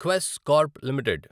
Quess Corp limited